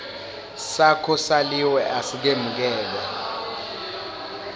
sakho saliwe asikemukelwa